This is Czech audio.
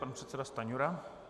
Pan předseda Stanjura.